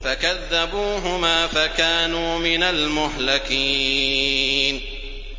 فَكَذَّبُوهُمَا فَكَانُوا مِنَ الْمُهْلَكِينَ